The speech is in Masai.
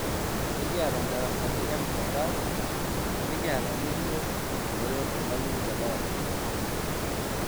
ekiata darasani e mtandao nikiata enilo atumore olmalimui te darasa kewon